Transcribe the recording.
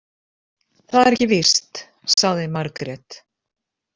Það er ekki víst, sagði Margrét.